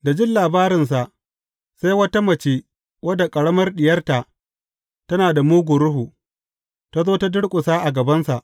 Da jin labarinsa, sai wata mace wadda ƙaramar diyarta tana da mugun ruhu, ta zo ta durƙusa a gabansa.